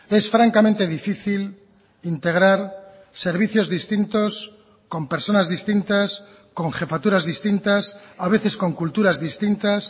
es francamente difícil integrar servicios distintos con personas distintas con jefaturas distintas a veces con culturas distintas